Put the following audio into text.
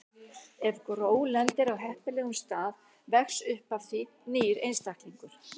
Ef gró lendir á heppilegum stað vex upp af því nýr einstaklingur.